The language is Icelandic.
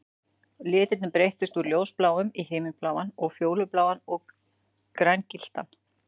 Litirnir breyttust úr ljósbláum í himinbláan og fjólubláan og grængylltan